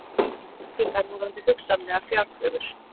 Spyr um tryggingar varðandi hugsanlegar fjárkröfur